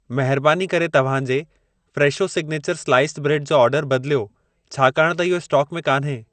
महरबानी करे तव्हां जे फ़्रेशो सिग्नेचर स्लाइस्ड ब्रेड जो ऑर्डर बदिलियो, छाकाण त इहो स्टोक में कान्हे।